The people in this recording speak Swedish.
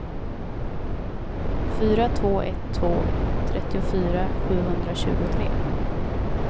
fyra två ett två trettiofyra sjuhundratjugotre